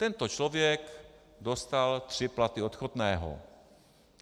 Tento člověk dostal tři platy odchodného.